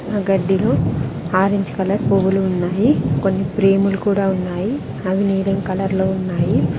ఆ గడ్డిలో orange colour పువ్వులు ఉన్నాయి కొన్ని ప్రేములు కూడా ఉన్నాయి అవి నీలం కలర్ లో ఉన్నాయి.